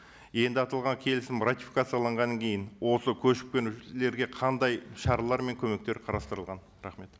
енді аталған келісім ратификацияланғаннан кейін осы көшіп қонушыларға қандай шаралар мен көмектер қарастырылған рахмет